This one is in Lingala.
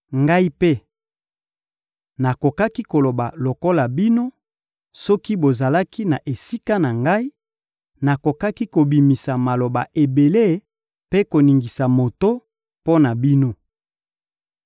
Ngai mpe nakokaki koloba lokola bino, soki bozalaki na esika na ngai, nakokaki kobimisa maloba ebele mpe koningisa moto mpo na bino.